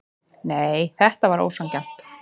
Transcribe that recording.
Nei, þetta var ósanngjarnt.